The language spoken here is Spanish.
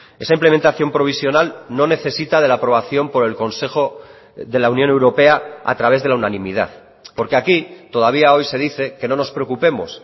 esa implementación provisional no necesita de la aprobación por el consejo de la unión europea a través de la unanimidad porque aquí todavía hoy se dice que no nos preocupemos